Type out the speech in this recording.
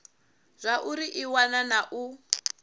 zwauri i wana na u